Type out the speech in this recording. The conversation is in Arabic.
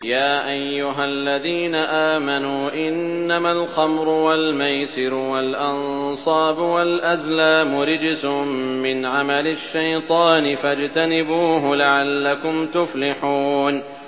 يَا أَيُّهَا الَّذِينَ آمَنُوا إِنَّمَا الْخَمْرُ وَالْمَيْسِرُ وَالْأَنصَابُ وَالْأَزْلَامُ رِجْسٌ مِّنْ عَمَلِ الشَّيْطَانِ فَاجْتَنِبُوهُ لَعَلَّكُمْ تُفْلِحُونَ